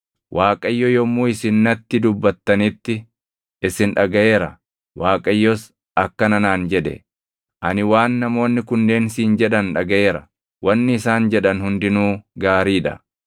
Waaqayyo yommuu isin natti dubbattanitti isin dhagaʼeera; Waaqayyos akkana naan jedhe; “Ani waan namoonni kunneen siin jedhan dhagaʼeera. Wanni isaan jedhan hundinuu gaarii dha.